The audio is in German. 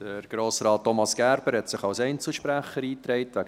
Grossrat Thomas Gerber hat sich als Einzelsprecher eingetragen.